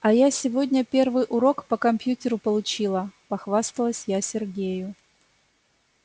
а я сегодня первый урок по компьютеру получила похвасталась я сергею